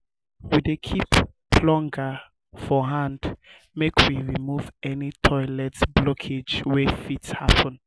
we dey keep plunger for hand make we remove um any toilet blockage wey um fit happun.